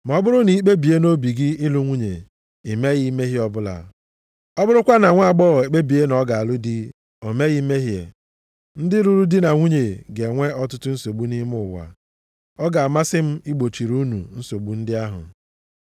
Ma ọ bụrụ na i kpebie nʼobi gị ịlụ nwunye, i meghị mmehie ọbụla; ọ bụrụkwa na nwaagbọghọ ekpebie na ọ ga-alụ di, o meghị mmehie. Ndị lụrụ di na nwunye ga-enwe ọtụtụ nsogbu nʼime ụwa. Ọ ga-amasị m igbochiri unu nsogbu ndị ahụ.